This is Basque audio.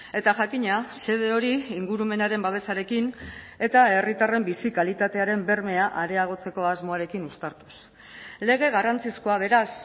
eta jakina xede hori ingurumenaren babesarekin eta herritarren bizi kalitatearen bermea areagotzeko asmoarekin uztartuz lege garrantzizkoa beraz